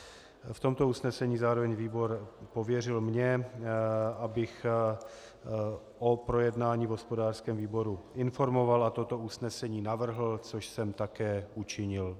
V tomto usnesení zároveň výbor pověřil mě, abych o projednání v hospodářském výboru informoval a toto usnesení navrhl, což jsem také učinil.